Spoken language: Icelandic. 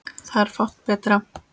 Það er fátt betra.